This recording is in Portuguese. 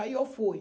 Aí eu fui.